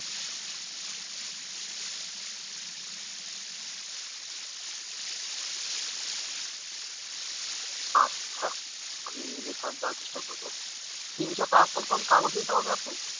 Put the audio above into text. আচ্ছা, আমি reference দেওয়ার চেষ্ঠা করব, এ বিষয়ে আর কোন কোন কাগজ নিতে হবে আপু?